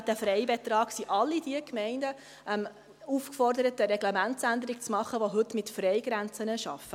Wenn sie einen Freibetrag vorgibt, sind alle Gemeinden aufgefordert, welche heute mit Freigrenzen arbeiten, eine Reglementsänderung zu machen.